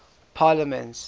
parliaments